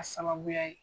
A sababuya ye